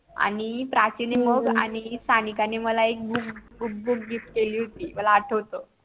आणि प्राची MUG आणि सानिका नि मला एक BOOK BOOK BOOK GIFT केली होती मला आठ्वत